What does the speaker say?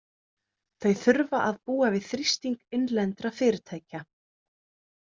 Þau þurfa að búa við þrýsting innlendra fyrirtæka.